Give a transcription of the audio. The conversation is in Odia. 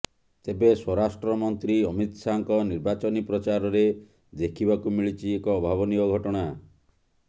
ତେବେ ସ୍ୱରାଷ୍ଟ୍ର ମନ୍ତ୍ରୀ ଅମିତ ଶାହଙ୍କ ନିର୍ବାଚନୀ ପ୍ରଚାରରେ ଦେଖିବାକୁ ମିଳିଛି ଏକ ଅଭାବନୀୟ ଘଟଣା